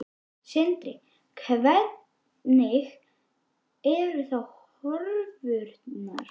Sindri: Hvernig eru þá horfurnar?